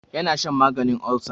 Ya na shan maganin olsa.